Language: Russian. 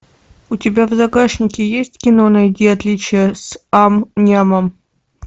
у тебя в загашнике есть кино найди отличия с ам нямом